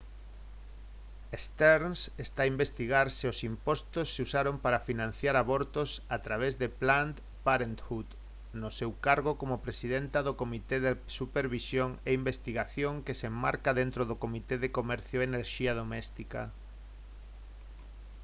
stearns está a investigar se os impostos se usaron para financiar abortos a través de planned parenthood no seu cargo como presidenta do comité de supervisión e investigación que se enmarca dentro do comité de comercio e enerxía doméstica